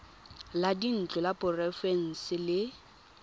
la dintlo la porofense le